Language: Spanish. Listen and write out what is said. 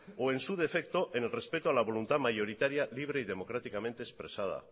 o en su defecto en el respeto a la voluntad mayoritaria libre y democráticamente expresada